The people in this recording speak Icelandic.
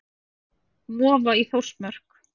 Vofa í Þórsmörk.